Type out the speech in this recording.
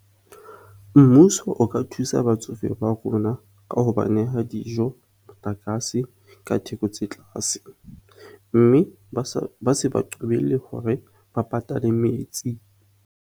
Mmuso o ka thusa batsofe ba rona ka ho ba neha dijo, motlakase, ka theko tse tlaase mme ba se ba qobelle hore ba patale metsi.